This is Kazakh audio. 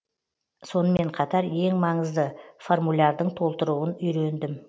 сонымен қатар ең маңызды формулярдың толтыруын үйрендім